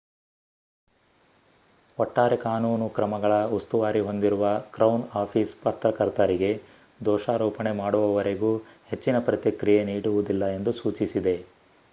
ಒಟ್ಟಾರೆ ಕಾನೂನು ಕ್ರಮಗಳ ಉಸ್ತುವಾರಿ ಹೊಂದಿರುವ ಕ್ರೌನ್ ಆಫೀಸ್ ಪತ್ರಕರ್ತರಿಗೆ ದೋಷಾರೋಪಣೆ ಮಾಡುವವರೆಗೂ ಹೆಚ್ಚಿನ ಪ್ರತಿಕ್ರಿಯೆ ನೀಡುವುದಿಲ್ಲ ಎಂದು ಸೂಚಿಸಿದೆ